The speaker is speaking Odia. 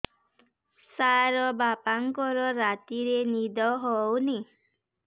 ସାର ବାପାଙ୍କର ରାତିରେ ନିଦ ହଉନି